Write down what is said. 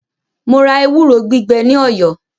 Mo ra ewúro gbígbẹ ní Ọ̀yọ́.